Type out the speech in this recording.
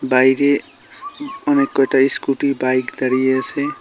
বাইরে অনেক কয়টা ইস্কুটি বাইক দাঁড়িয়ে আছে।